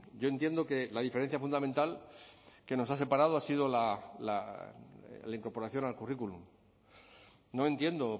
yo entiendo que la diferencia fundamental que nos ha separado ha sido la incorporación al currículum no entiendo